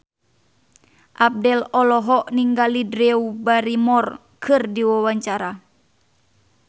Abdel olohok ningali Drew Barrymore keur diwawancara